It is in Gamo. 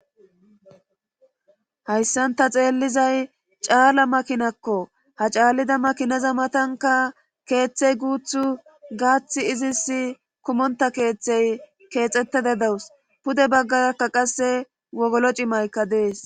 hayssanta xeellizay caala makinakko ha caallida makineza matanka keeththey guuth gaathi izis kumonta keeththey keexxetteda dawus pude baggarkka qasse wogolo cimaykka dees